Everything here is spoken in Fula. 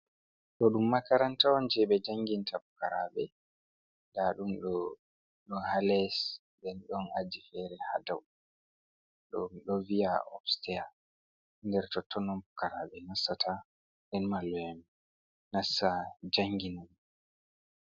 Ɗo ɗum makaranta on je ɓe janginta fukaraaɓe, nda ɗum ɗo ɗo ha les, nden ɗon aji fere ha dow, ɗo ɗum ɗo via obsteya, nder totton on fukaraaɓe nasata, nden malluen nasta jangina.